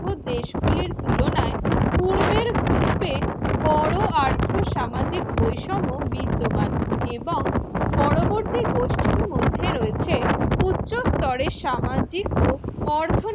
দেশ গুলির তুলনায় পূর্বের group বড় আর্থসামাজিক বৈষম্য বিদ্যমান এবং পরবর্তী গোষ্ঠীর মধ্যে রয়েছে উচ্চ স্তরের সামাজিক ও অর্ধ